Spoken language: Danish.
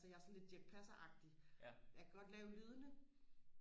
så jeg er sådan lidt Dirch Passer agtig jeg kan godt lave lydene